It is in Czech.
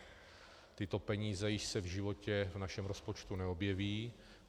Tyto peníze již se v životě v našem rozpočtu neobjeví.